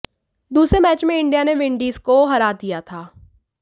दूसरे मैच में इंडिया ने विंडीज को हरा दिया था